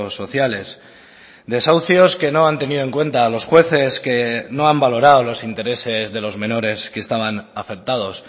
sociales desahucios que no han tenido en cuenta a los jueces que no han valorado los intereses de los menores que estaban afectados